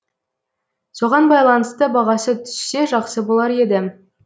соған байланысты бағасы түссе жақсы болар еді